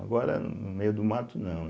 Agora, no meio do mato, não.